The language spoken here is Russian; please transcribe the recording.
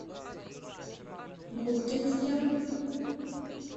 губкинским